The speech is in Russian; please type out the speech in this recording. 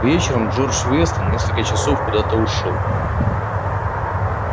вечером джордж вестон на несколько часов куда-то ушёл